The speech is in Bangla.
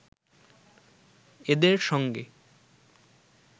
এদের সঙ্গে